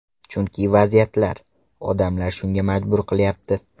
Chunki vaziyatlar, odamlar shunga majbur qilyapti.